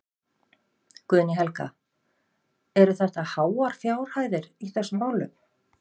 Guðný Helga: Eru þetta háar fjárhæðir í þessum málum?